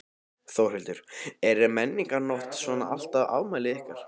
Þórhildur: Er Menningarnótt svona alltaf afmælið ykkar?